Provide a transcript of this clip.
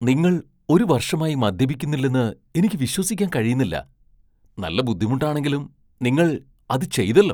നിങ്ങൾ ഒരു വർഷമായി മദ്യപിക്കുന്നില്ലെന്ന് എനിക്ക് വിശ്വസിക്കാൻ കഴിയുന്നില്ല! നല്ല ബുദ്ധിമുട്ടാണെങ്കിലും നിങ്ങൾ അത് ചെയ്തല്ലോ!